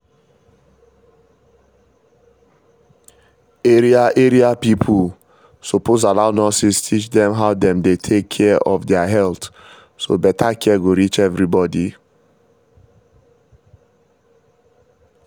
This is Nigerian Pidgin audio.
area area pipo suppose allow nurses teach dem how dem dey take care of their health so better care go reach everybody